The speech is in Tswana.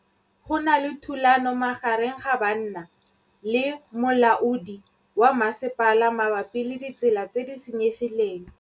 Go na le thulanô magareng ga banna le molaodi wa masepala mabapi le ditsela tse di senyegileng.